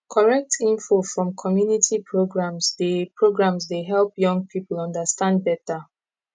correct info from community programs dey programs dey help young people understand better